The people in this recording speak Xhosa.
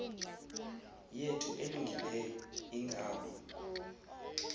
yethu elungileyo ingabi